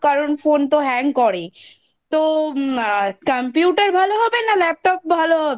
কারণ phone তো hang করে তো computer ভালো হবে না laptop ভালো হবে?